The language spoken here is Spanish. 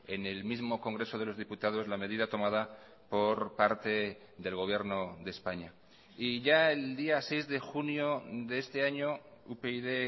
en el mismo congreso de los diputados la medida tomada por parte del gobierno de españa y ya el día seis de junio de este año upyd